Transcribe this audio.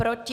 Proti?